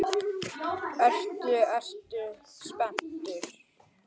Ertu, ertu spenntur?